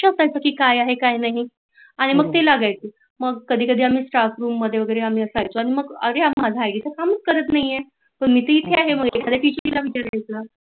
काय आहे की नाही आणि मग ते लागायच आणि मग कधी कधी आम्ही staff room मध्ये वगेरे आम्ही असायचो आणि मग अरे माझा आईडी तर काम करत नाही आहे पण मी तर इथे आहे